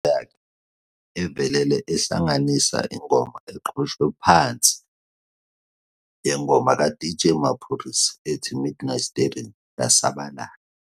I-video yakhe evelele ehlanganisa ingoma eqoshwe phansi yengoma kaDJ Maphorisa ethi "Midnight Starring" yasabalala.